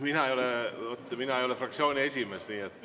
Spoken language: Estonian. Mina ei ole fraktsiooni esimees.